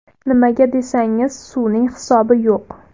Nimaga desangiz, suvning hisobi yo‘q.